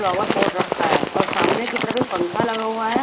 Rubber port रखा है और सामने के तरफ एक पंखा लगा हुआ है।